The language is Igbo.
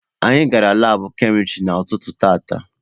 Anyị gara laabụ kemịstrị n'ụtụtụ tata.